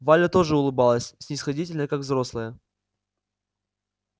валя тоже улыбалась снисходительно как взрослая